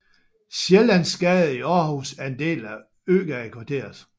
Sjællandsgade i Aarhus er en del af Øgadekvarteret